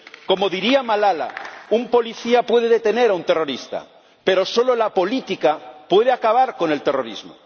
Como diría Malala, un policía puede detener a un terrorista, pero solo la política puede acabar con el terrorismo.